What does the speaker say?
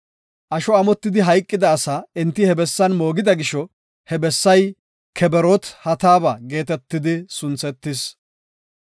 Asho amotidi hayqida asaa enti he bessan moogida gisho he bessay Kebroot-Hataaba geetetidi sunthetis.